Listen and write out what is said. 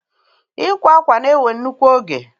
Ịkwa akwa na-ewe nnukwu oge